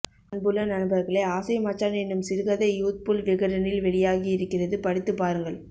அன்புள்ள நண்பர்களே ஆசை மச்சான் என்னும் சிறுகதை யூத்புல் விகடனில் வெளியாகி இருக்கிறது படித்துப் பாருங்கள்